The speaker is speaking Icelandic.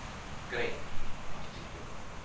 Grein, áttu tyggjó?